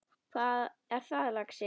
Hvað er það, lagsi?